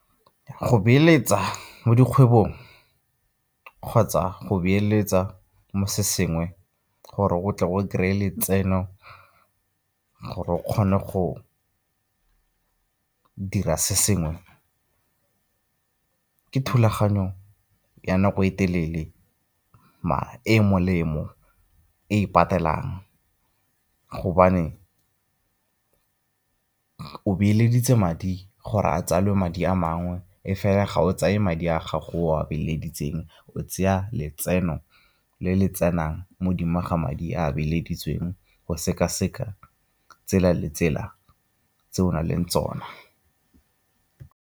Go beeletsa mo dikgwebong kgotsa go beeletsa mo se sengwe gore go tle o kry-e letseno gore o kgone go dira se sengwe ke thulaganyo ya nako e telele, mara e e molemo e e patelang gobane o beeleditse madi gore a tsale madi a mangwe. E fela ga o tsaye madi a gago o a beeleditseng, o tseya letseno le le tsenang modimo ga madi a beeleditseng go seka-seka tsela le tsela tse o na leng tsona.